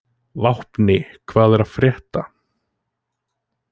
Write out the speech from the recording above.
Vápni, hvað er að frétta?